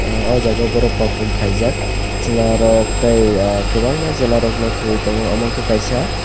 o jaga borok perform khaijak chwlarok tei ah kwbangma chwlarokno thuwui tongo amo ungka kaisa.